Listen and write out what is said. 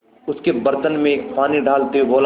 उसके बर्तन में पानी डालते हुए बोला